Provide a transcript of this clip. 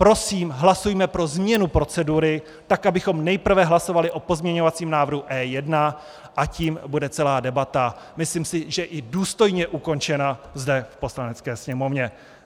Prosím, hlasujme pro změnu procedury tak, abychom nejprve hlasovali o pozměňovacím návrhu E1, a tím bude celá debata, myslím si, i důstojně ukončena zde v Poslanecké sněmovně.